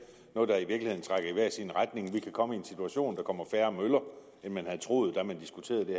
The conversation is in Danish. noget der i i hver sin retning vi kan komme i en situation kommer færre møller end man havde troet da man diskuterede det